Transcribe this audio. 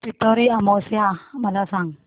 पिठोरी अमावस्या मला सांग